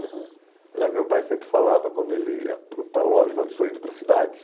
uhum. Aliás, meu pai sempre falava, quando ele ia para o para a loja, ele falava, estou indo para a cidade.